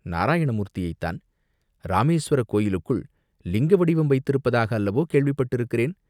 நாராயண மூர்த்தியைத்தான்!" "இராமேஸ்வரக் கோயிலுக்குள் லிங்க வடிவம் வைத்திருப்பதாக அல்லவோ கேள்விப்பட்டிருக்கிறேன்?